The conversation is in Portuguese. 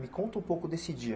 Me conta um pouco desse dia.